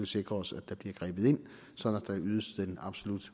sikre os at der bliver grebet ind sådan at ydes den absolut